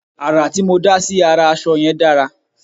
àrà tí mó dá sí ará aṣọ yẹn dára